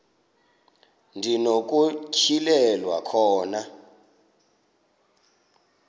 ndi nokutyhilelwa khona